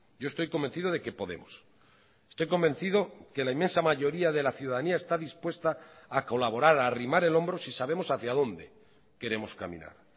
yo estoy convencido de que podemos estoy convencido que la inmensa mayoría de la ciudadanía está dispuesta a colaborar a arrimar el hombro si sabemos hacia donde queremos caminar